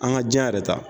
An ka diɲɛ yɛrɛ ta